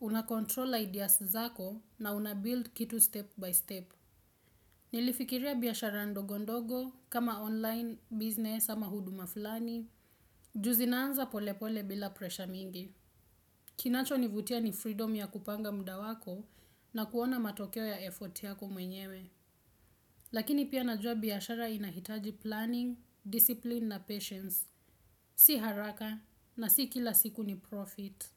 Una control ideas zako na unabuild kitu step by step. Nilifikiria biashara ndogondogo, kama online, business, ama huduma fulani. Ju zinaanza pole pole bila presha mingi. Kinacho nivutia ni freedom ya kupanga muda wako na kuona matokeo ya effort yako mwenyewe. Lakini pia najua biashara inahitaji planning, discipline na patience. Si haraka na si kila siku ni profit.